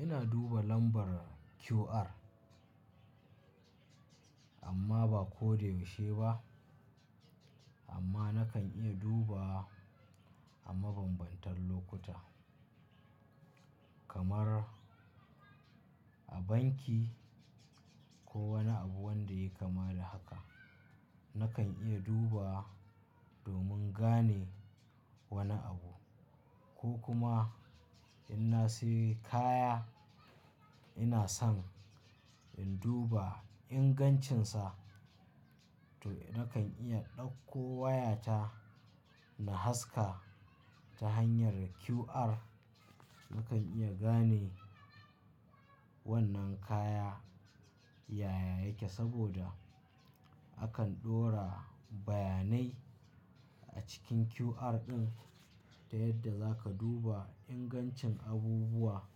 Ina duba lambar QR amma ba ko da yaushe ba. Amma nakan iya duba a mabambantan lokuta kamar a banki ko wani abu wanda ya kama da haka. Nakan iya duba domin gane wani abu ko kuma in na sayi kaya, ina son in duba ingancinsa to nakan iya ɗauko wayata na haska ta hanyar QR. Nakan iya gane wannan kaya yaya yake saboda akan ɗora bayanai a cikin QR ɗin ta yadda za ka duba ingancin abubuwa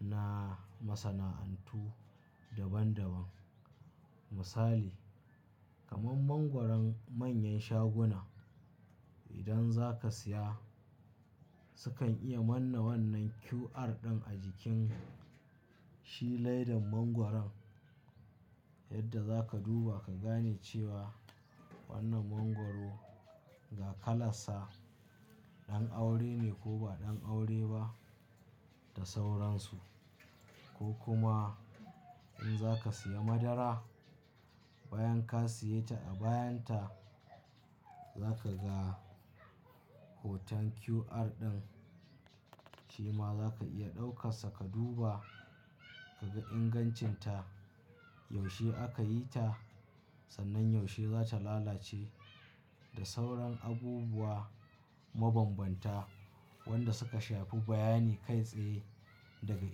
na masana'antu daban daban. Misali kamar mangwaron manyan shaguna, idan za ka siya sukan iya manna wannan QR ɗin a jikin shiledan mangwaron yadda za ka duba ka gane cewa wannan mangwaro ga kalansa ɗan aure ne ko ba ɗan aure ba da sauransu. Ko kuma in za ka siya madara, bayan ka siya ta a bayan ta za ka ga hoton QR ɗin, shema za ka iya ɗauka saka duba ka ga ingancinta, yaushe aka yi ta sannan yaushe za ta lalace da sauran abubuwa mabambanta wanda suka shafi bayani kai tsaye daga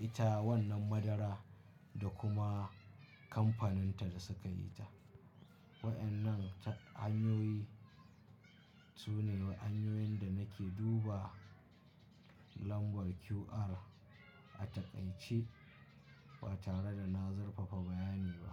ita wannan madara da kuma kamfaninta da suka yi ta. Waɗannan hanyoyi sune hanyoyin da nake duba lambar QR a taƙaice ba tare da na zarfafa bayani ba.